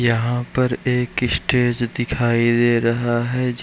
यहाँ पर एक स्टेज दिखाई दे रहा है ज --